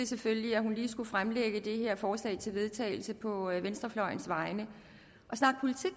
selvfølgelig skulle fremsætte det her forslag til vedtagelse på venstrefløjens vegne